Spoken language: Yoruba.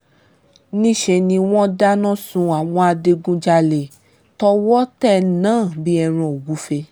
níṣẹ́ ni wọ́n dáná sun àwọn adigunjalè tọwọ́ tẹ̀ náà bíi ẹran ògùfẹ̀